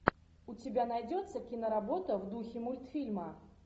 у тебя найдется киноработа в духе мультфильма